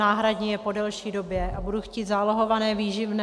náhradní je po delší době - a budu chtít zálohované výživné.